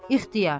İxtiyar.